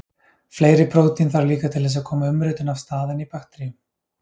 Fleiri prótín þarf líka til þess að koma umritun af stað en í bakteríum.